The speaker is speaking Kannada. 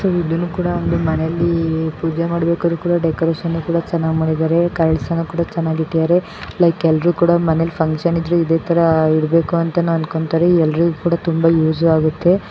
ಈ ಒಂದು ಮನೆಯಲ್ಲಿ ಪೂಜೆ ಮಾಡೋದಿಕ್ಕೆ ಡೆಕೋರೇಷನ್ ಕೂಡ ತುಂಬಾ ಚೆನ್ನಾಗಿ ಮಾಡಿದ್ದಾರೆ. ಕಳ್ಸನು ಕೂಡ ಚೆನ್ನಾಗಿ ಇಟ್ಟಿದ್ದಾರೆ ಲೈಕ್ ಎಲ್ಲರು ಕೂಡ ಮನೆಲಿ ಫಂಕ್ಷನ್ ಇದ್ರೆ ಕೂಡ ಎಲ್ಲರೂ ಇದೇ ತರ ಇರಬೇಕಂತ ಅನ್ಕೊಂತಾರೆ ಇದು ಕೂಡ ತುಂಬಾ ಯೂಸ್ ಆಗುತ್ತೆ.